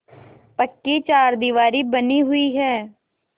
पक्की चारदीवारी बनी हुई है